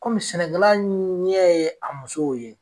Kɔmi sɛnɛkɛla ɲɛ ye a musow ye